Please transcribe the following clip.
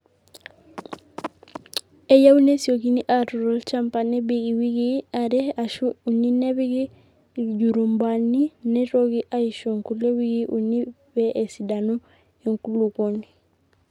eyieu nesiokini aatur olchamba nebik iwikii are aashu uni nepiki iljorubani neitoki aishu nkulie wikii uni pee esidanu enkulukuoni